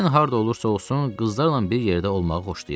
Mən harada olursa olsun, qızlarla bir yerdə olmağı xoşlayıram.